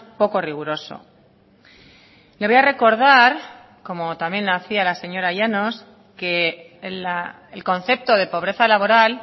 poco riguroso le voy a recordar como también lo hacía la señora llanos que el concepto de pobreza laboral